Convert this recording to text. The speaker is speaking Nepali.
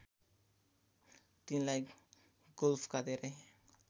तिनलाई गोल्फका धेरै